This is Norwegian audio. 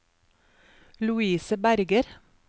Louise Berger